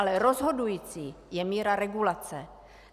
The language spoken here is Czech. Ale rozhodující je míra regulace.